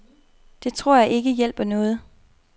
Det tror jeg ikke hjælper noget.